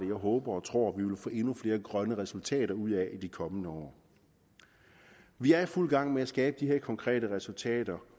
jeg håber og tror vi vil få endnu flere grønne resultater ud af i de kommende år vi er i fuld gang med at skabe de her konkrete resultater